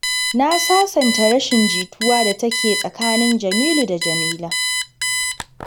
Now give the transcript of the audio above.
Na sasanta rashin jituwar da take tsakanin Jamilu da Jamila.